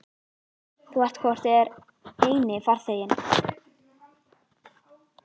Þú ert hvort eð er eini farþeginn.